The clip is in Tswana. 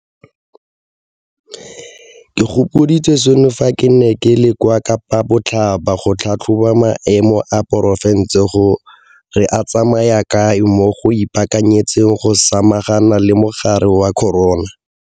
Ke gopoditswe seno fa ke ne ke le kwa Kapa Botlhaba go tlhatlhoba maemo a porofense gore a tsamaya kae mo go ipaakanyetseng go samagana le mogare wa corona.